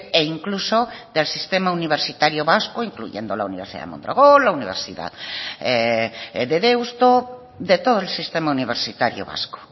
e incluso del sistema universitario vasco incluyendo la universidad de mondragón la universidad de deusto de todo el sistema universitario vasco